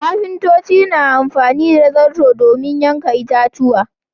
Ƙafintoci suna amfani da zarto domin yankin itatuwa.